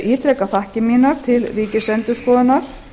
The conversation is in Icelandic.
ítreka þakkir mínar til ríkisendurskoðunar